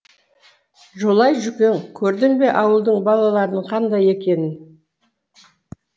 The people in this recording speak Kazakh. жолай жүкең көрдің бе ауылдың балаларының қандай екенін